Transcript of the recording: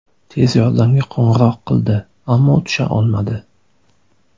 Tez yordamga qo‘ng‘iroq qildi, ammo tusha olmadi.